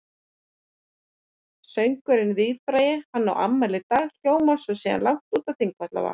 Söngurinn víðfrægi Hann á afmæli í dag hljómar síðan langt út á Þingvallavatn.